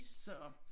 Så